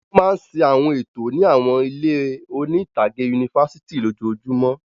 Wọ́n máa ń ṣe àwọn ètò ní àwọn ilé oní-ìtàgé yunifásitì lójoojúmọ́.